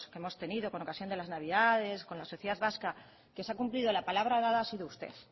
que hemos tenido con ocasión de las navidades con la sociedad vasca que se ha cumplido la palabra dada ha sido usted